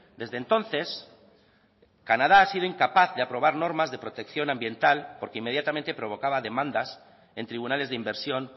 desde entonces canadá ha sido incapaz aprobar normas de protección ambiental porque inmediatamente provocaba demandas en tribunales de inversión